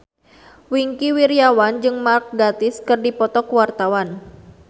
Wingky Wiryawan jeung Mark Gatiss keur dipoto ku wartawan